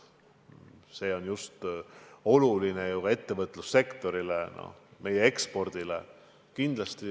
See on oluline ka ettevõtlussektorile, meie ekspordile.